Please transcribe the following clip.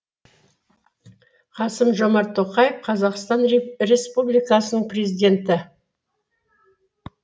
қасым жомарт тоқаев қазақстан республикасының президенті